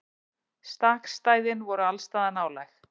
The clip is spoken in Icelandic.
Stakkstæðin voru allsstaðar nálæg.